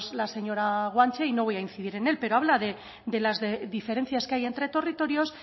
la señora guanche y no voy a incidir en él pero habla de las diferencias que hay entre territorios